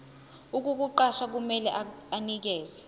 ukukuqasha kumele anikeze